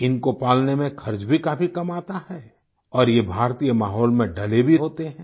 इनको पालने में खर्च भी काफी कम आता है और ये भारतीय माहौल में ढ़ले भी होते हैं